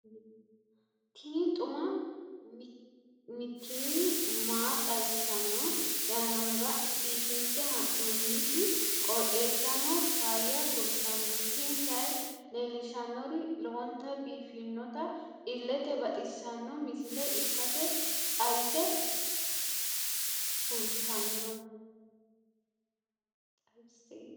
tini xuma mtini maa xawissanno yaannohura biifinse haa'noonniti qooxeessano faayya kultanno tini kayi leellishshannori lowonta biiffinota illete baxissanno misile ikkase xawisse kultanno.